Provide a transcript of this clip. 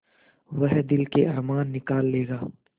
वह दिल के अरमान निकाल लेगा